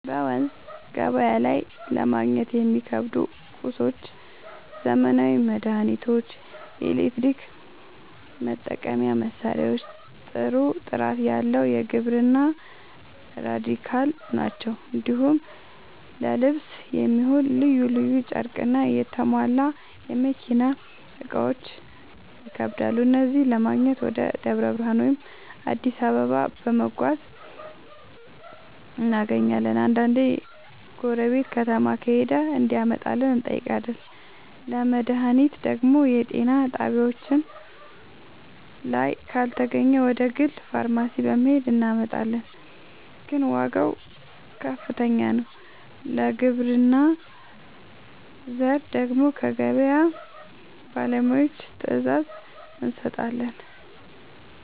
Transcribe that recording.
በመንዝ ገበያ ላይ ለማግኘት የሚከብዱ ቁሳቁሶች ዘመናዊ መድሃኒቶች፣ የኤሌክትሪክ መጠቀሚያ መሳሪያዎችና ጥሩ ጥራት ያለው የግብርና ᛢል ናቸው። እንዲሁም ለልብስ የሚሆን ልዩ ልዩ ጨርቅና የተሟላ የመኪና እቃዎች ይከብዳሉ። እነዚህን ለማግኘት ወደ ደብረ ብርሃን ወይም አዲስ አበባ በመጓዝ እናገኛለን፤ አንዳንዴ ጎረቤት ከተማ ከሄደ እንዲያመጣልን እንጠይቃለን። ለመድሃኒት ደግሞ የጤና ጣቢያችን ላይ ካልተገኘ ወደ ግል ፋርማሲ በመሄድ እናመጣለን፤ ግን ዋጋው ከፍተኛ ነው። ለግብርና ዘር ደግሞ ከገበያ ባለሙያዎች ትዕዛዝ እንሰጣለን።